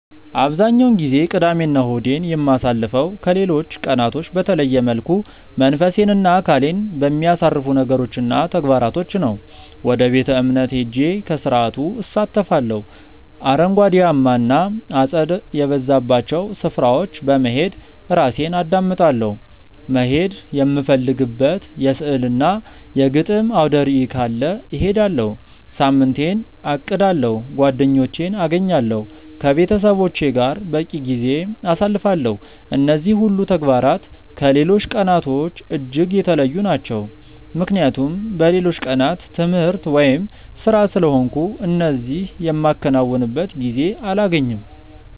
አብዛኛውን ጊዜ ቅዳሜ እና እሁዴን የማሳልፈው ከሌሎች ቀናቶች በተለየ መልኩ መንፈሴን እና አካሌን በሚያሳርፉ ነገሮች እና ተግባራቶች ነው። ወደ ቤተ-እምነት ሄጄ ከስርዓቱ እሳተፋለሁ፤ አረንጓዴያማ እና አጸድ የበዛባቸው ስፍራዎች በመሄድ ራሴን አዳምጣለሁ፤ መሄድ የምፈልግበት የሥዕል እና የግጥም አውደርዕይ ካለ እሄዳለሁ፤ ሳምንቴን አቅዳለሁ፤ ጓደኞቼን አገኛለሁ፤ ከቤተሰቦቼ ጋር በቂ ጊዜ አሳልፋለሁ። እነዚህ ሁሉ ተግባራት ከሌሎች ቀናቶች እጅግ የተለዩ ናቸው ምክንያቱም በሌሎቹ ቀናት ትምህርት ወይም ስራ ስለሆንኩ እነዚህ የማከናውንበት ጊዜ አላገኝም።